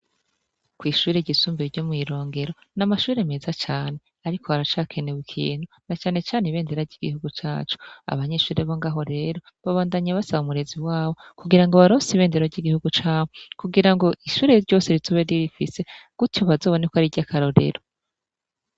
Kw'ishure ryisumbuye ryo mwirongero n'amashure meza cane ariko aracakenewe ikintu na cane cane ibendera ry'igihugu cacu abanyeshure bo ngaho rero babandanya basaba umurezi wabo kugira ngo babaronse ibendera y'igihugu cabo kugira ngo ishure ryose rizobe riyifise gutyo bazobone ko ari irya karorero.